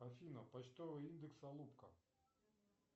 афина почтовый индекс алупка